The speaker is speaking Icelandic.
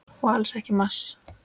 Og alls ekki í mars.